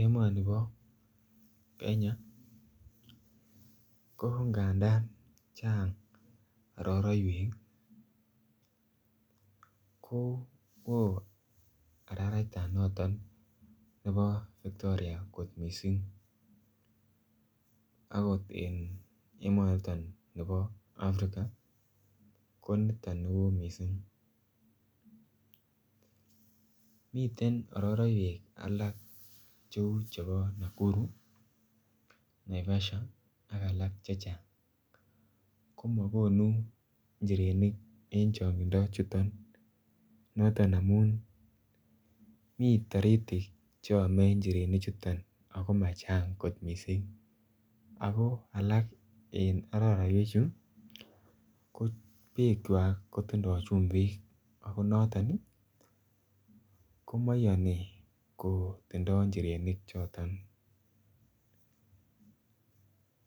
Emonibo Kenya ko nganda chang' araraiwek ko oo araratan noton nebo victoria kot mising' akot en emonoton nebo afrika ko noton ne oo mising' miten araraiwek alak cheu chebo Nakuru Naivasha ak alak chechang' komakonu njirenik en chong'indo chuto noton amun mi toritik cheomei kot njireni chuto ako machang' mising' ako alak en araraiwechu ko bekchwai kotindoi chumbik ako noton komaiyoni kotindoi njirenik choton